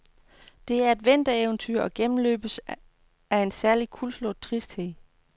Det er et vintereventyr og gennemløbes af en særlig kuldslået tristhed.